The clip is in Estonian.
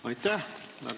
Aitäh!